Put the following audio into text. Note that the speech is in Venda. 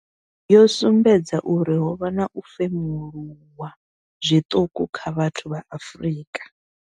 Yo sumbedza uri ho vha na u femuluwa zwiṱuku kha vhathu vha Afrika.